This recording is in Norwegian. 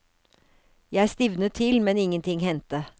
Jeg stivnet til, men ingenting hendte.